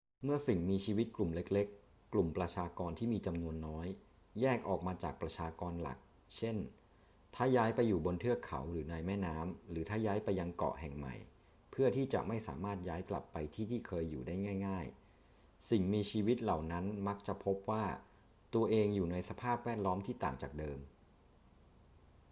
เมื่อสิ่งมีชีวิตกลุ่มเล็ก ๆ กลุ่มประชากรที่มีจำนวนน้อย แยกออกมาจากประชากรหลัก เช่น ถ้าย้ายไปอยู่บนเทือกเขาหรือในแม่น้ำ หรือถ้าย้ายไปยังเกาะแห่งใหม่เพื่อที่จะไม่สามารถย้ายกลับไปที่ที่เคยอยู่ได้ง่าย ๆ สิ่งมีชีวิตเหล่านั้นมักจะพบว่าตัวเองอยู่ในสภาพแวดล้อมที่ต่างจากเดิม